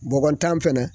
Bɔgɔ tan fɛnɛ